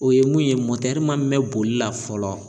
O ye mun ye ma mɛn boli la fɔlɔ